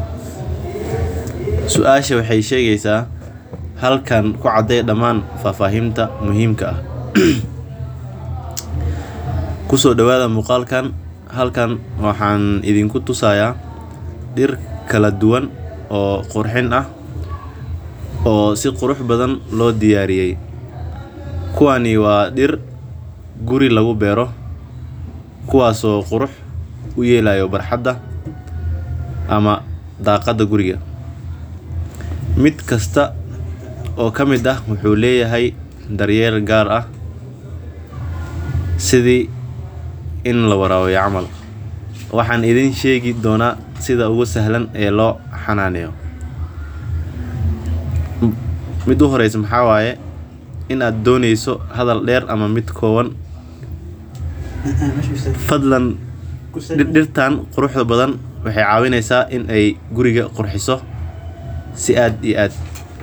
Suashan waxeey shegeysa halkan ku cadee damaan faahfaahinta muhiimka ah waxaan niigu tusaaya dir kala duban oo qurxin ah oo si kala duban loo diyaariye kuwan waa dir guri lagu beero si qurux loogu helo ku kasta wuxuu leyahay dar yeel kala duban waxaan arkaa dir guriga aad iyo aad uqirxiso si fican weliba.